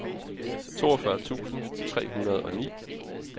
toogfyrre tusind tre hundrede og ni